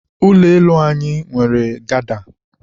ụlọ elu anyị nwere gada.